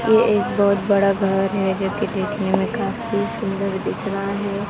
ये एक बहोत बड़ा घर है जोकि देखने में काफी सुंदर दिख रहा है।